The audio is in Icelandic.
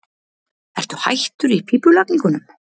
Ertu hættur í pípulagningunum?